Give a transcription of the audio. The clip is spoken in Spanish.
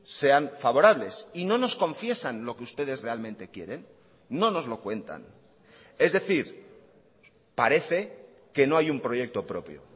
sean favorables y no nos confiesan lo que ustedes realmente quieren no nos lo cuentan es decir parece que no hay un proyecto propio